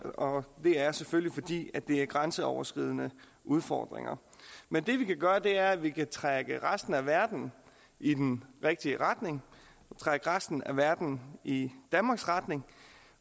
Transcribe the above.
og det er selvfølgelig fordi det er grænseoverskridende udfordringer men det vi kan gøre er at vi kan trække resten af verden i den rigtige retning trække resten af verden i danmarks retning